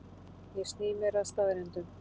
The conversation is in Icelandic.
Ég sný mér að staðreyndum.